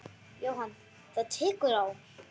Jóhann: Það tekur á?